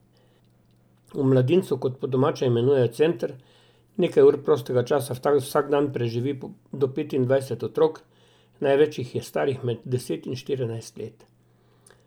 V Mladincu, kot po domače imenujejo center, nekaj ur prostega časa vsak dan preživi do petindvajset otrok, največ jih je starih med deset in štirinajst let.